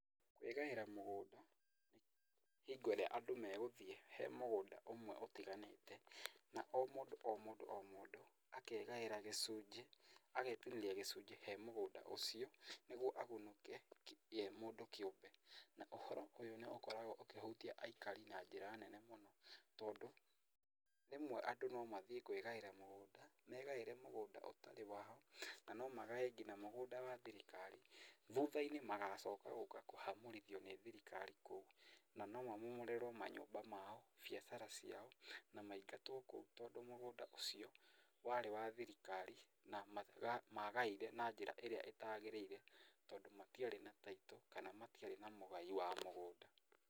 Kwĩgaĩra mũgũnda ní, hingo ĩrĩa andũ megũthiĩ he mũgũnda ũmwe ũtiganĩte, na o mũndũ o mũndũ o mũndũ akegaĩra gĩcunjĩ, agetinĩria gĩcunjĩ he mũgũnda ũcio, nĩguo agunĩke ye mũndũ kĩúmbe, na ũhoro ũyũ nĩũkoragwo ũkĩhutia aikari na njĩra nene mũno, tondũ, rĩmwe andũ nomathiĩ kwígaĩra mũgũnda, megaĩre mũgũnda ũtarĩ wao, na nomagae nginya mũgũnda wa thirikari, thutha-inĩ magacoka gũka kũhamũrithio nĩ thirikari kuo, na nomamomorerwo manyũmba mao, biacara ciao, na maingatwo kũu tondũ mũgũnda ũcio warĩ wa thirikari, na maga magaire na njĩra ĩrĩa ĩtagĩrĩire, tondũ matiarĩ na title kana matiarĩ na mũgai wa mũgũnda.